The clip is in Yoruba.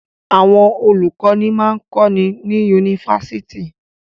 Àwọn olùkọ́ní máa ń kọ́ni ní yunifásitì.